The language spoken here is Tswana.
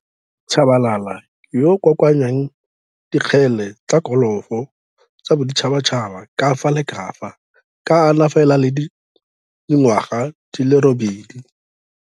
Tshabalala yoo o kokoanyang dikgele tsa kolofo tsa boditšhatšhaba ka fa la ka fa ka a na fela le dingwaga di le robedi.